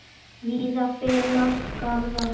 Víða finnast garðar.